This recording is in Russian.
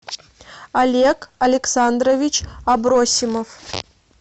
олег александрович абросимов